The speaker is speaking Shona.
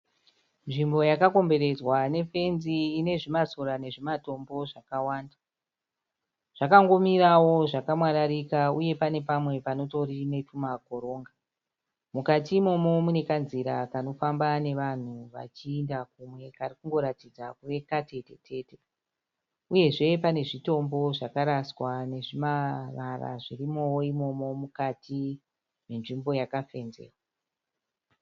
Nzvimbo yakakomberedzwa nefenzi ine zvimasora nezvimatombo zvakawanda. Zvakangomirawo zvakamwararika uye pane pamwe panotori netumakoronga. Mukati imomo mune kanzira kanofamba nevanhu vachaenda kumwe kari kungoratidza kuve katetete uye pane zvitombo zvakaraswa nezvimara zvirimowo imomo mukati menzvimbo yakafenzewa.